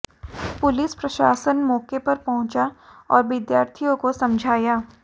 police प्रशासन मौके पर पहुंचा और विद्यार्थियों को समझाया